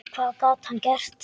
Hvað gat hann gert?